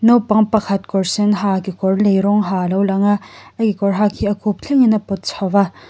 naupang pakhat kawr sen ha kekawr lei rawng ha a lo lang a a kekawr hak hi a khup thlengin a pawt chho a.